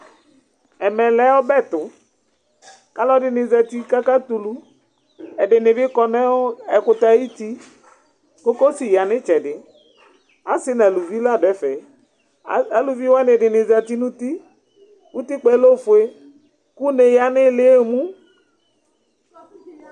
ɛmɛ lɛ ɔbɛ tʋ kalɔ dini zati kaka tulu, ɛdɩnɩ bɩ kɔ nʋʋ ɛkʋtɛ ayʋti, kokosi ya nɩ tsɛdɩ , asɩ naluvi la dʋɛ fɛ, aluvi wani dɩniɩ zati nuti, utikpɛ lofoe, kʋne yǝ nɩlɩ emu